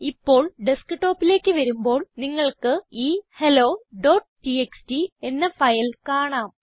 ഇപ്പോൾ ഡെസ്ക്ടോപ്പിലേക്ക് വരുമ്പോൾ നിങ്ങൾക്ക് ഈ helloടിഎക്സ്ടി എന്ന ഫയൽ കാണാം